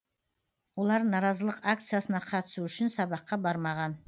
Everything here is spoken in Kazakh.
олар наразылық акциясына қатысу үшін сабаққа бармаған